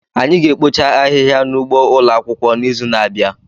Anyị ga-ekpocha ahịhịa n'ugbo ụlọ akwụkwọ n'izu na-abịa